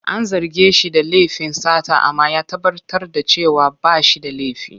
An zarge shi da laifin sata amma ya tabbatar da cewa ba shi da laifi.